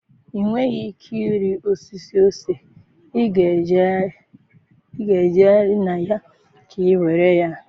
i nweghị ike ịrị osisi ose, ị na-ejegharị na ya ka iwere ya.